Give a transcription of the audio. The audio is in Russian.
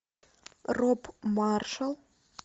роб маршалл